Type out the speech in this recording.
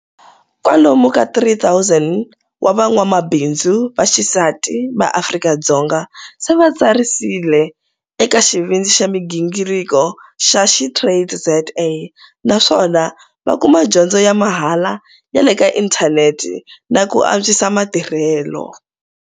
Kwalomu ka 3 000 wa van'wamabindzu va xisati va Afrika-Dzonga se va tsariserile eka Xivindzi xa migingirko xa SheTradesZA naswona va kuma dyondzo ya mahala ya le ka inthanete na ku antswisa matirhelo.